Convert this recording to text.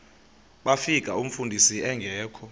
bafika umfundisi engekho